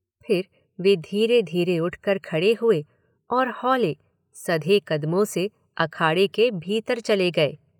फिर वे धीरे धीरे उठकर खड़े हुए और हौले, सधे कदमों से अखाड़े के भीतर चले गए।